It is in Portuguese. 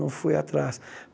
Não fui atrás.